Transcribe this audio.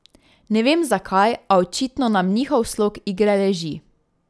Ne vem zakaj, a očitno nam njihov slog igre leži.